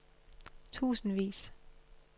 tusindvis